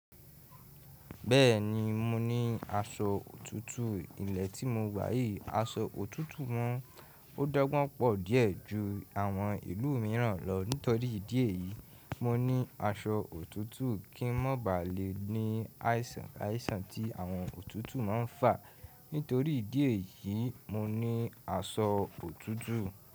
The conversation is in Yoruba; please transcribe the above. Bẹ́ẹ̀ni, mo ní aṣọ òtútù ilẹ̀ tí mo gbà yìí. Aṣọ òtútù wọ́n ò dọ́gbọ́n pọ̀ díẹ̀ ju àwọn ìlú mìíràn lọ. Nítorí ìdí èyí, mo ní aṣọ òtútù kí n má ba à le ní àìsàn tí àwọn òtútù ma ń fà. Nítorí ìdí èyí, mo ní aṣọ òtútù.